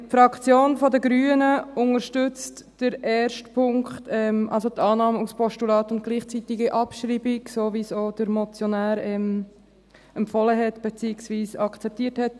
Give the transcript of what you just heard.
Die Fraktion der Grünen unterstützt den ersten Punkt, also die Annahme als Postulat bei gleichzeitige Abschreibung, so wie es auch der Motionär empfohlen hat, beziehungsweise als Vorschlag akzeptiert hat.